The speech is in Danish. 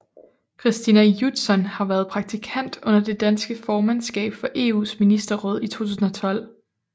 Christina Judson har været praktikant under det danske formandskab for EUs ministerråd i 2012